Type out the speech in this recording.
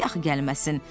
Niyə də axı gəlməsin?